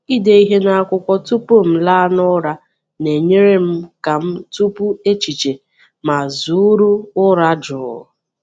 Ịde ihe n’akwụkwọ tupu m laa n’ụra na-enyere m ka m tụpụ echiche ma zụụrụ ụra jụụ.